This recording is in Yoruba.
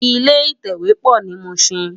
Ilé itèwé pò ni Mushin